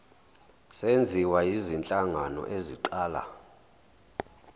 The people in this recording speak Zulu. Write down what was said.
senziwa yizinhlangano eziqala